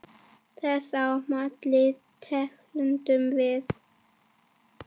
Þess á milli tefldum við.